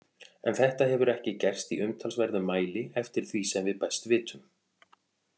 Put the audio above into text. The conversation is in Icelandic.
En þetta hefur ekki gerst í umtalsverðum mæli eftir því sem við best vitum.